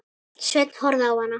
Sveinn horfði á hana.